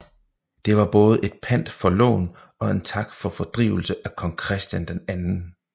Det var både et pant for lån og en tak for fordrivelse af Kong Christian 2